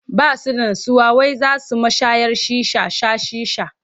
Ba su da nutsuwa wai za su mashayar shisha sha shisha.